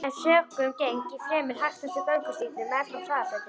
um sökum geng ég fremur hægt eftir göngustígnum meðfram hraðbrautinni.